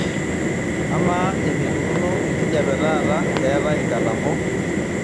amaa eneikununo enkijiape taata keetae inkatambo